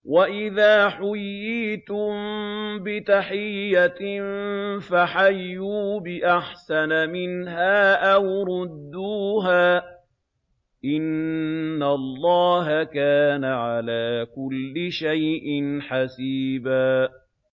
وَإِذَا حُيِّيتُم بِتَحِيَّةٍ فَحَيُّوا بِأَحْسَنَ مِنْهَا أَوْ رُدُّوهَا ۗ إِنَّ اللَّهَ كَانَ عَلَىٰ كُلِّ شَيْءٍ حَسِيبًا